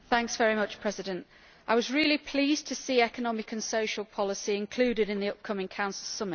Mr President, I was really pleased to see economic and social policy included in the upcoming Council summit.